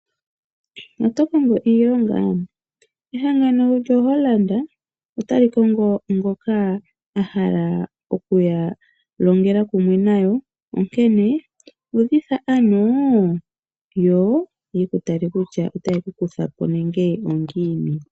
Otokongo iilonga? Ehangano lyo Holland ota li kongo ngoka ahala okuya alongele kumwe nayo onkene uudhidha aano yo oyeku tale kutya otaye kukuthapo nenge ongini.